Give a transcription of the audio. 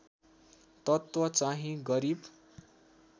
तत्त्व चाहिँ गरिब